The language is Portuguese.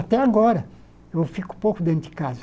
Até agora, eu fico pouco dentro de casa.